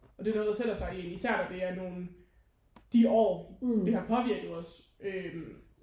Og det er noget der sætter sig i en især når det er nogen de år det har påvirket os øh